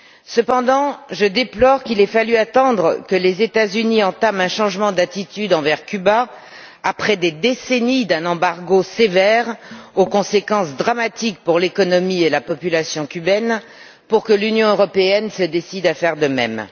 Cependant, je déplore qu'il ait fallu attendre que les États Unis entament un changement d'attitude envers Cuba, après des décennies d'un embargo sévère aux conséquences dramatiques pour l'économie et la population cubaines, pour que l'Union européenne se décide à faire de même.